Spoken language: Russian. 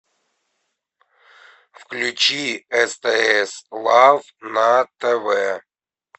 включи стс лав на тв